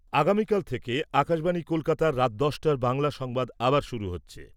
আগামীকাল থেকে আকাশবাণী কলকাতার রাত দশটার বাংলা সংবাদ আবার শুরু হচ্ছে।